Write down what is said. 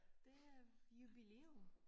Det er jubilæum